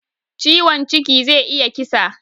Ciwon ciki zai iya kisa